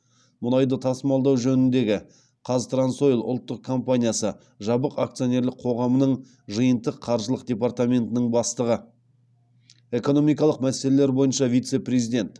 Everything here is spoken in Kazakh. мұнайды тасымалдау жөніндегі қазтрансойл ұлттық компаниясы жабық акционерлік қоғамының жиынтық қаржылық департаментінің бастығы экономикалық мәселелер бойынша вице президент